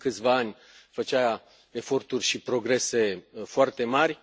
Acum câțiva ani făcea eforturi și progrese foarte mari.